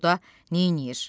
Orda neyləyir?